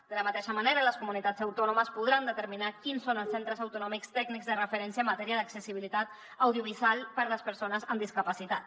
de la mateixa manera les comunitats autònomes podran determinar quins són els centres autonòmics tècnics de referència en matèria d’accessibilitat audiovisual per a les persones amb discapacitat